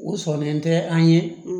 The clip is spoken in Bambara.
U sɔnnen tɛ an ye